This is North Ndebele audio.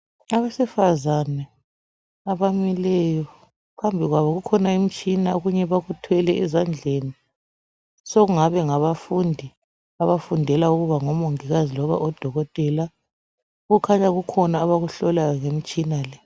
Abesifazana abamileyo, phambi kwabo kukhona imtshina, okunye bakuthwele ezandleni, sekungabe ngabafundi abafundela ukuba ngomongikazi loba odokotela. Kukhanya kukhona abakuhlolayo ngemtshina le